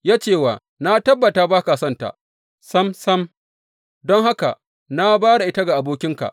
Ya ce wa, Na tabbata ba ka sonta sam sam, don haka na ba da ita ga abokinka.